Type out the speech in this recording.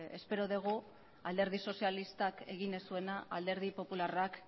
espero dugu alderdi sozialistak egin ez zuena alderdi popularrak